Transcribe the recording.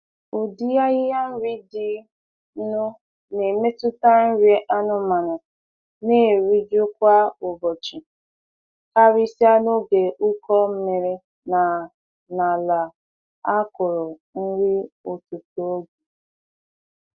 Ụdị ahịhịa nri dị nụ na emetụta nri anụmanụ na-eriju kwa ụbọchị, karịsịa n’oge ụkọ mmiri na n’ala a kụrụ nri ọtụtụ oge.